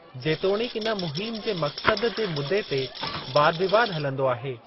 जेतोणिकि, इन मुहिम जे मकसद जे मुदे ते वादविवाद हलंदो आहे।